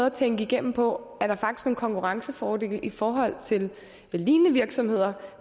at tænke igennem på at konkurrencefordele i forhold til lignende virksomheder